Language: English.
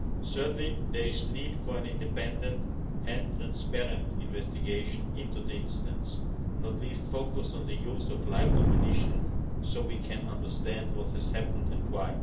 Certainly, there is a need for an independent and transparent investigation into the incidents, not least focused on the use of live ammunition, so that we can understand what has happened and why.